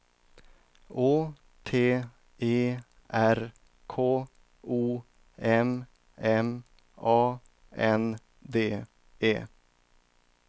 Å T E R K O M M A N D E